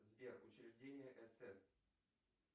сбер учреждение сс